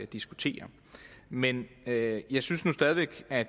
diskutere men jeg jeg synes nu stadig væk at